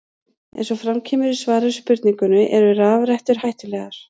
Eins og fram kemur í svari við spurningunni Eru rafrettur hættulegar?